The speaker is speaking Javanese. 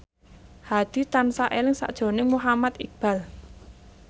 Hadi tansah eling sakjroning Muhammad Iqbal